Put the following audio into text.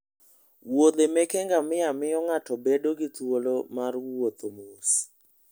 muodhe meke ngamia miyo ng'ato bedo gi thuolo mar wuotho mos.